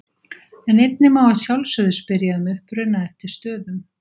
En einnig má að sjálfsögðu spyrja um uppruna eftir stöðum.